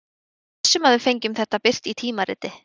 Ég er viss um að við fengjum þetta birt í tímariti.